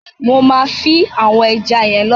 Mo ma fin àwon eja yen lọ́la